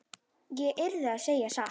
Ég yrði að segja satt.